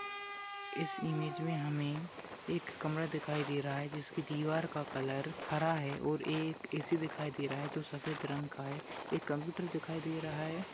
इस इमेंज में हमेंएक कमरा दिखाई दे रहा है जिसकी दीवार का कलर हरा है और एक ए.सी दिखाई दे रहा है। जो सफेद रंग का है यह कप्यूटर दिखाई दे रहा है।